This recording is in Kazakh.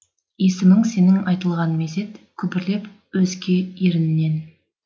есімің сенің айтылған мезет күбірлеп өзге еріннен